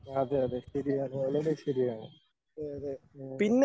അതെ അതെ ശരിയാണ് വളരെ ശരിയാണ്. ഉം